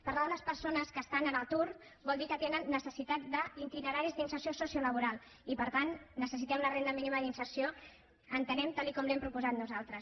parlar de les persones que estan a l’atur vol dir que tenen necessitat d’itineraris d’inserció sociolaboral i per tant necessitem la renda mínima d’inserció entenem tal com l’hem proposat nosaltres